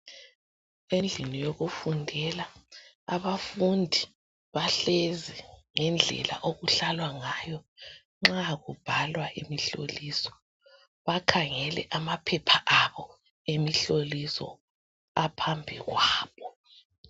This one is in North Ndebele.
Endlini yokufundela abafundi bahlezi ngendlela okuhlalwa ngayo nxa kubhalwa imihloliso bakhangele amaphepha abo emihloliso aphambi kwabo.